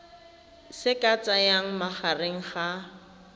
se ka tsayang magareng ga